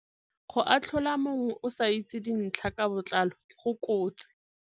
Go atlhola mongwe o sa itse dintlha ka botlalo go kotsi.